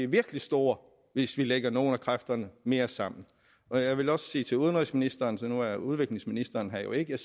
virkelig store hvis vi lægger nogle af kræfterne mere sammen og jeg vil gerne sige til udenrigsministeren nu er udviklingsministeren her jo ikke at